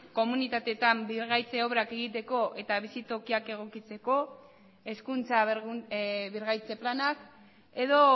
komunitateetan birgaitze obrak egiteko eta bizitokiak egokitzeko hezkuntza birgaitze planak edo